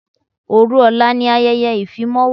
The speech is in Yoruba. Òru ọ̀la ni ayẹyẹ ìfimáwo.